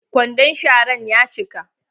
Kwandon sharan ya cika.